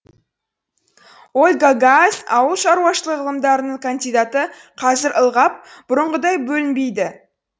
ольга гаас ауыл шаруашылығы ғылымдарының кандидаты қазір бұрынғыдай бөлінбейді